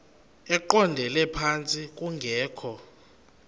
eqondele phantsi kungekho